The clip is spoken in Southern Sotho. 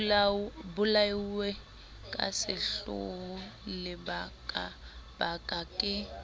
bolauwe ka sehloho lebakabaka ke